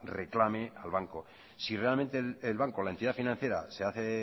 reclame al banco si realmente el banco la entidad financiera se hace